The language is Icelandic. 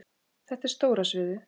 Þetta er stóra sviðið.